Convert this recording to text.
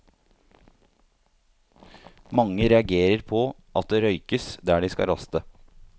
Mange reagerer på at det røykes der de skal raste.